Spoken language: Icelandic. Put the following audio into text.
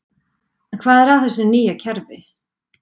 En hvað er að þessu nýja kerfi?